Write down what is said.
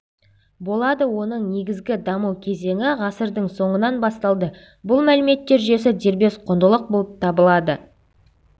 болады оның негізгі даму кезеңі ғасырдың соңынан басталды бұл мәліметтер жүйесі дербес құндылық болып табылады